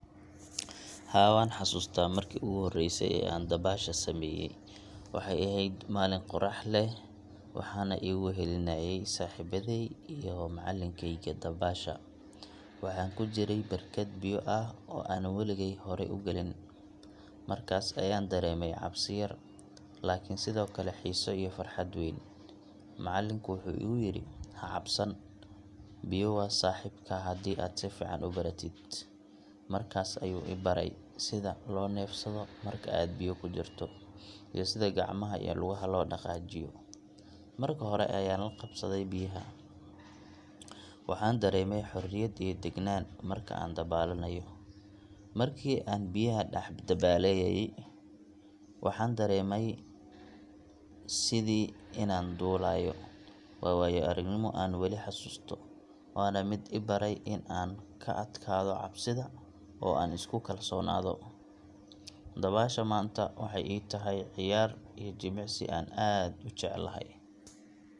Haa, waan xasuustaa markii ugu horreysay ee aan dabaasha sameeyay. Waxay ahayd maalin qorax leh, waxaana igu wehelinayay saaxiibaday iyo macallinkayga dabaasha. Waxaan ku jiray barkad biyo ah oo aan waligey horay u gelin, markaas ayaan dareemay cabsi yar, laakiin sidoo kale xiiso iyo farxad weyn. Macallinku wuxuu igu yiri, “Ha cabsan, biyo waa saaxiibkaa haddii aad si fiican u baratid.” Markaas ayuu i baray sida loo neefsado marka aad biyo ku jirto, iyo sida gacmaha iyo lugaha loo dhaqaajiyo. Mar hore ayaan la qabsaday biyaha, waxaana dareemay xorriyad iyo deganaan marka aan dabaalanayo. Markii aan biyaha dhex dabaalayay, waxaan dareemayay sidii inaan duulayo. Waa waayo-aragnimo aan weli xasuusto, waana mid i baray inaan ka adkaado cabsida oo aan isku kalsoonaado. Dabaasha maanta waxay ii tahay ciyaar iyo jimicsi aan aad u jeclahay.